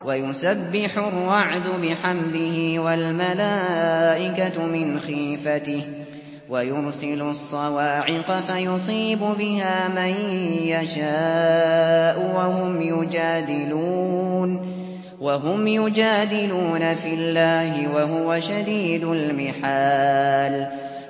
وَيُسَبِّحُ الرَّعْدُ بِحَمْدِهِ وَالْمَلَائِكَةُ مِنْ خِيفَتِهِ وَيُرْسِلُ الصَّوَاعِقَ فَيُصِيبُ بِهَا مَن يَشَاءُ وَهُمْ يُجَادِلُونَ فِي اللَّهِ وَهُوَ شَدِيدُ الْمِحَالِ